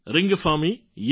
રિંગફામી young